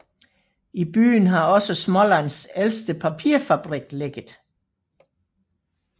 I byen har også Smålands ældste papirfabrik ligget